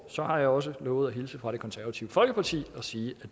så har jeg også lovet at hilse fra det konservative folkeparti og sige